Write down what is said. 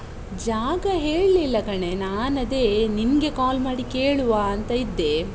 ಜಾಗ ಹೇಳ್ಲಿಲ್ಲ ಕಣೇ, ನಾನ್ ಅದೇ ನಿಂಗೆ call ಮಾಡಿ ಕೇಳುವಾ ಅಂತ ಇದ್ದೆ.